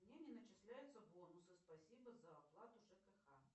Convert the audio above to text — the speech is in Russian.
мне не начисляются бонусы спасибо за оплату жкх